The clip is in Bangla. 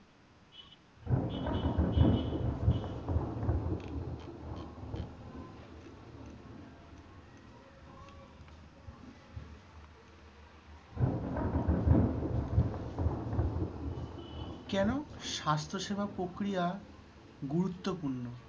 কেন স্বাস্থ্য সেবা প্রক্রিয়া গুরুত্বপূর্ণ?